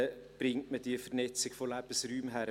kriegt man also diese Vernetzung von Lebensräumen hin?